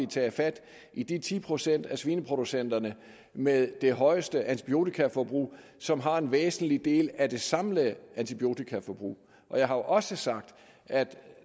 taget fat i de ti procent af svineproducenterne med det højeste antibiotikaforbrug som har en væsentlig del af det samlede antibiotikaforbrug jeg har også sagt at vi